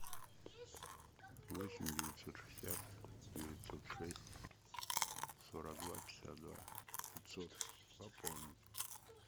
восемь девятьсот шестьдесят девятьсот шесть сорок два пятьдесят два пятьсот пополнить